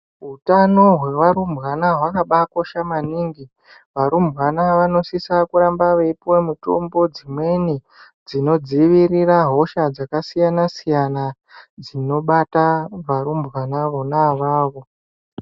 Hutano hwevarumbwana hwakambakosha maningi varumbwana vanosisa kuramba veipuwa mitombo dzimweni dzinodzivirira hosha dzakasiyana siyana dzinobata varumbwana vona avavo